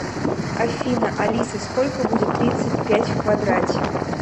афина алиса сколько будет тридцать пять в квадрате